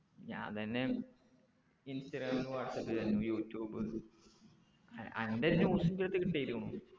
ഞാന്‍തന്നെ ഇൻസ്റ്റാഗ്രാമിലും വാട്സാപ്പിലും എന്നെ യുട്യൂബ് ആഹ് അൻ്റെ news ഇന്റ്റത്തേക്ക് ഇട്ടെനു